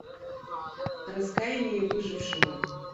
раскаяние выжевшего